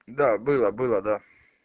да было было да